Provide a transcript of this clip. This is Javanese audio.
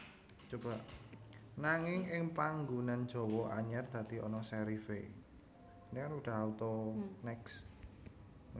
Nanging ing panggunan Jawa anyar dadi ana serif é